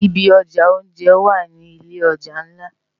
Ibi òjá óonjè wá ni ilé òjá nlá